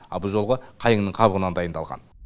ал бұл жолғы қайыңның қабығынан дайындалған